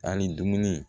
An ni dumuni